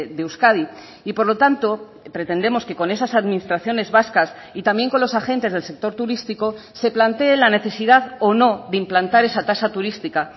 de euskadi y por lo tanto pretendemos que con esas administraciones vascas y también con los agentes del sector turístico se plantee la necesidad o no de implantar esa tasa turística